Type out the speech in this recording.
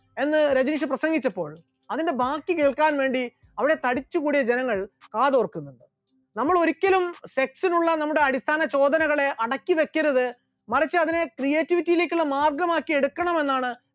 എന്ന് രജനീഷ് പ്രസംഗിച്ചപ്പോൾ അതിന്റെ ബാക്കി കേൾക്കാൻ വേണ്ടി അവിടെ തടിച്ചുകൂടിയ ജനങ്ങൾ കാതോർക്കുന്നുണ്ടായിരുന്നു, നമ്മൾ ഒരിക്കലും sex നുള്ള നമ്മുടെ അടിസ്ഥാന ചോദനകളെ അടക്കിവെക്കരുത്, മറിച്ച് അതിനെ creativity യിലേക്കുള്ള മാർഗമാക്കി എടുക്കണമെന്നാണ്